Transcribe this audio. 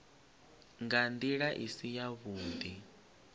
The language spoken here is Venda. nga ndila i si yavhudi